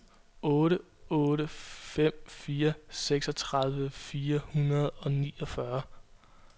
otte otte fem fire seksogtredive fire hundrede og niogfyrre